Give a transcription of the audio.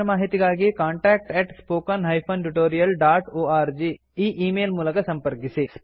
ಹೆಚ್ಚಿನ ಮಾಹಿತಿಗಾಗಿ contactspoken tutorialorg ಈ ಈ ಮೇಲ್ ಮೂಲಕ ಸಂಪರ್ಕಿಸಿ